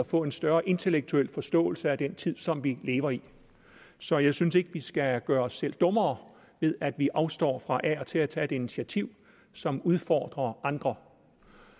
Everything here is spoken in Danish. få en større intellektuel forståelse af den tid som vi lever i så jeg synes ikke vi skal gøre os selv dummere ved at vi afstår fra af og til at tage et initiativ som udfordrer andre